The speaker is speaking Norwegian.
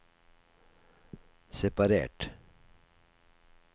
separert